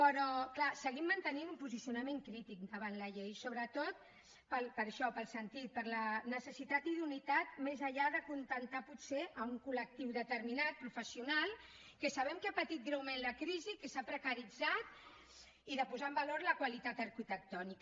però clar seguim mantenint un posicionament crític davant la llei sobretot per això pel sentit per la necessitat i idoneïtat més enllà d’acontentar potser un col·lectiu determinat professional que sabem que ha patit greument la crisi que s’ha precaritzat i de posar en valor la qualitat arquitectònica